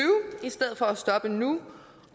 i stedet for at stoppe nu